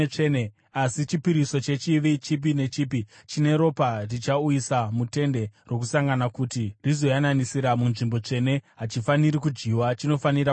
Asi chipiriso chechivi, chipi nechipi chine ropa richauyiswa muTende Rokusangana kuti rizoyananisira muNzvimbo Tsvene, hachifaniri kudyiwa; chinofanira kupiswa.